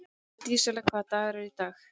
Dísella, hvaða dagur er í dag?